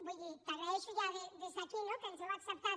vull dir t’agraeixo ja des d’aquí no que ens hàgiu acceptat